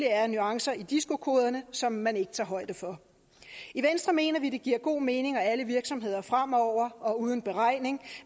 er nuancer i disco koderne som man ikke tager højde for i venstre mener vi det giver god mening at alle virksomheder fremover og uden beregning